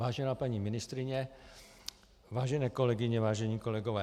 Vážená paní ministryně, vážené kolegyně, vážení kolegové.